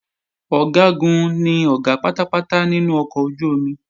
Ọ̀gágun ni Ọ̀gá pátápátá nínú ọkọ̀ ojú-omi